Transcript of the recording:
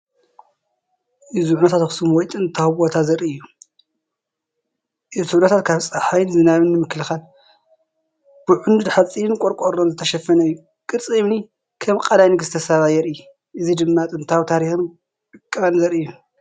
እዚ ዑናታት ኣኽሱም ወይ ጥንታዊ ቦታ ዘርኢ እዩ። እቲ ዑናታት ካብ ጸሓይን ዝናብን ንምክልኻል ብኣዕኑድ ሓጺንን ብቆርቆሮን ዝተሸፈነ እዩ። ቅርጺ እምኒ (ከም ቐላይ ንግስቲ ሳባ) ይርአ። እዚ ድማ ጥንታዊ ታሪኽን ዕቃበን ዘርኢ እዩ።